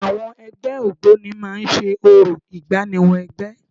Àwọn ẹgbẹ́ Ògboni máa ń ṣe orò ìgbáníwọ-ẹgbẹ́.